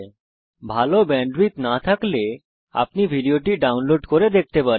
যদি ভাল ব্যান্ডউইডথ না থাকে তাহলে আপনি ভিডিও টি ডাউনলোড করে দেখতে পারেন